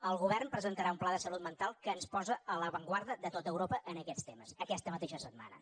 el govern presentarà un pla de salut mental que ens posa a l’avantguarda de tot europa en aquests temes aquesta mateixa setmana